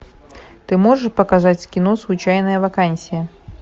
ты можешь показать кино случайная вакансия